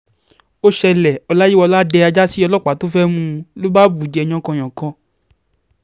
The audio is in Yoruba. ó ṣẹlẹ̀, ọláyíwọlá dẹ ajá sí ọlọ́pàá tí ó fẹ́ mú u ni ó bá bù ú jẹ yánkanyànkan